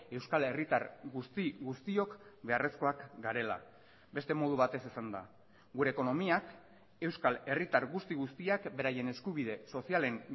euskal herritar guzti guztiok beharrezkoak garela beste modu batez esanda gure ekonomiak euskal herritar guzti guztiak beraien eskubide sozialen